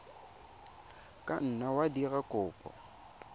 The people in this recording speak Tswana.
ka nna wa dira kopo